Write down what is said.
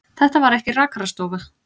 Þetta var ekki rakarastofa.